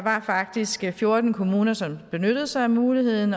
faktisk var fjorten kommuner som benyttede sig af muligheden